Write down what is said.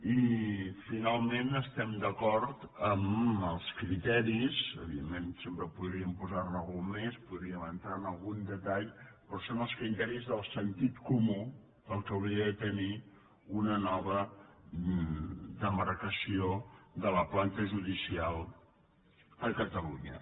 i finalment estem d’acord amb els criteris evidentment sempre podríem posar ne algun més podríem entrar en algun detall però són els criteris del sentit comú del que hauria de tenir una nova demarcació de la planta judicial a catalunya